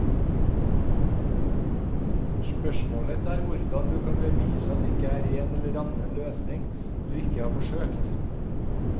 Spørsmålet er hvordan du kan bevise at det ikke er en eller annen løsning du ikke har forsøkt.